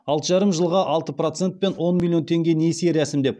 алты жарым жылға алты процентпен он миллион теңге несие рәсімдеп